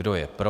Kdo je pro?